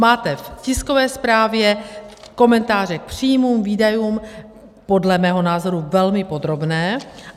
Máte v tiskové zprávě komentáře k příjmům, výdajům, podle mého názoru velmi podrobné.